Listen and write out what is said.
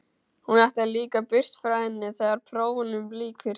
Hún ætlar líka burt frá henni þegar prófunum lýkur.